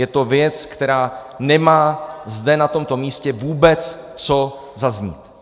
Je to věc, která nemá zde, na tomto místě, vůbec co zaznít.